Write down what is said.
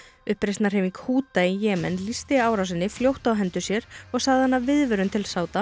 Húta í Jemen lýsti árásinni fljótt á hendur sér og sagði hana viðvörun til